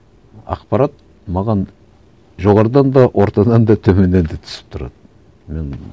ақпарат маған жоғарыдан да ортадан да төменнен де түсіп тұрады мен